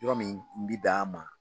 Yɔrɔ min bi bɛn an ma.